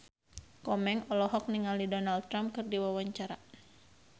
Komeng olohok ningali Donald Trump keur diwawancara